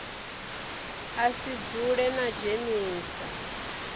a si dzule a dzhenisa